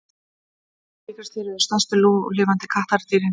tígrisdýr eru stærstu núlifandi kattardýrin